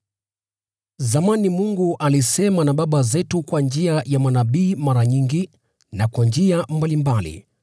Zamani Mungu alisema na baba zetu kwa njia ya manabii mara nyingi na kwa njia mbalimbali,